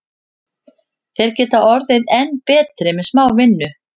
Þeir geta orðið enn betri með smá vinnu.